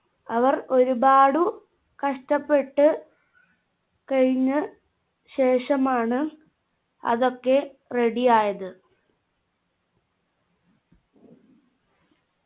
അവർ ഒരുപാടു കഷ്ടപ്പെട്ട് കഴിഞ്ഞ ശേഷമാണ് അതൊക്കെ ready ആയത്